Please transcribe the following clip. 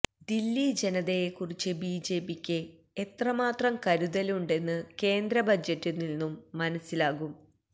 ദില്ലി ജനതയെക്കുറിച്ച് ബിജെപിക്ക് എത്ര മാത്രം കരുതലുണ്ടെന്ന് കേന്ദ്ര ബജറ്റിൽ നിന്നും മനസ്സിലാകും